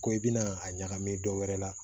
Ko i bɛna a ɲagami dɔ wɛrɛ la